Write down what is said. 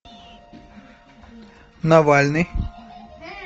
навальный